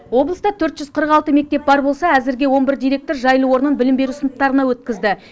облыста төрт жүз қырық алты мектеп бар болса әзірге он бір директор жайлы орнын білім беру сыныптарына өткізді